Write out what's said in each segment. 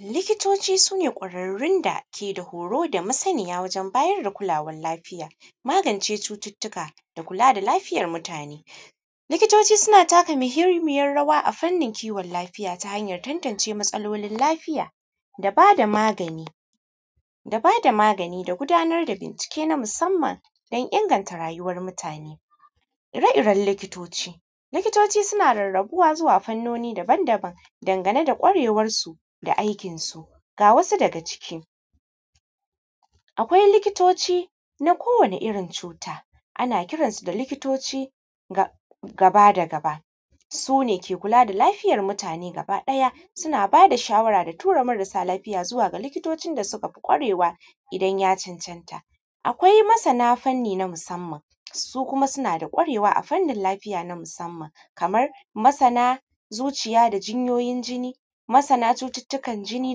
Likitoci su ne kwararrun dake da huru da masaniya domin bayar da kulawan lafiya da magance cututtuka, kula da lafiyan mutane. Likitoci suna taka muhinmiyan rawa a fannin kiwan lafiya ta hanyan tantance matsalolin lafiya da ba da magani da gudanar da bincike don inganta rayuwan mutane, manyan likitoci likitoci suna karkasuwa zuwa ɓangarori daban-daban dangane ɓangare da kwarewansu da aikinsu. Ga wasu daga ciki akwai: likitoci nakowane irin cuta ana kiransu da gaba da gaba su ne ke kula da lafiyan mutane kuma suna ba da shawara ga su tura marasa lafiya zuwa ga likitocin da suka fi kwarewa idan ya cancanta. Akwai masana fanni na musanman su kuma suna da fasaha a ɓangare na musanman kaman masana da zuciya da hanyoyin jinni, masana cututtukan jini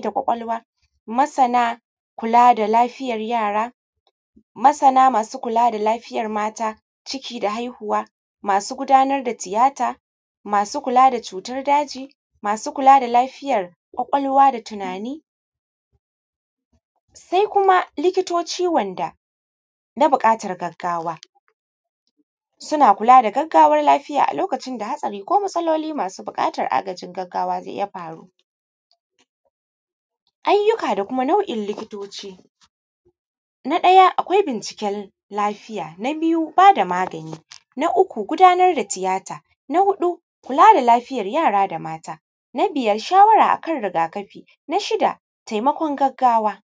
da na kwakwalwa, masana da lafiyan yara, masana masu kula da lafiyan mata, ciki da haihuwa masu gudanar da tiyata, masu kula da cutan daji, masu kula da lafiyan kwakwalwa da tunani sai kuma likitoci wanda mabuƙatan gaggawa suna kula da gaggawan lafiya suna kula da gaggawan lafiya. Akwai matsaloli masu buƙatan agajin gaggawa da ya faru ayyuka da kuma nau’in likitoci na ɗaya akwai binciken lafiya, na biyu ba da magani, na uku gudanar da tiyata, na huɗu kula da lafiyan yara da mata, na biyar shawara da akan rigakafi, na shida taimakon gaggawa.